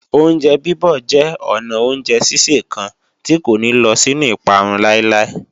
Oúnjẹ bíbọ̀ jẹ́ ọnà oúnjẹ sísè kan tí kò ní lọ sínú ìparun láíláí